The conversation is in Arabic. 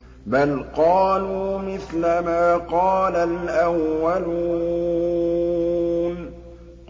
بَلْ قَالُوا مِثْلَ مَا قَالَ الْأَوَّلُونَ